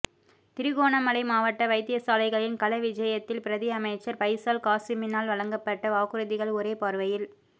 திருகோணமலை மாவட்ட வைத்தியசாலைகளின் கள விஜயத்தில் பிரதி அமைச்சர் பைசால் காசிமினால் வழங்கப்பட்ட வாக்குறுதிகள் ஒரே பார்வையில்